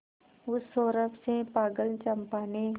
उस सौरभ से पागल चंपा ने